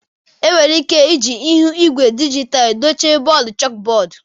Enwere ike iji ihu igwe dijitalụ dochie bọọdụ chalkbọọdụ.